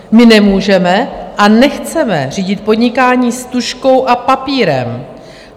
My nemůžeme a nechceme řídit podnikání s tužkou a papírem.